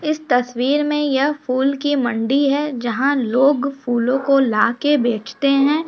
इस तस्वीर में यह फूल की मंडी है जहाँ लोग फूलों को लाके बेचते हैं।